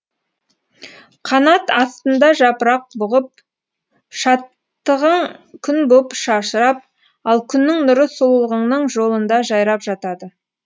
канат астында жапырақ бұғып шаттығың күн боп шашырап ал күннің нұры сұлулығыңның жолында жайрап жатады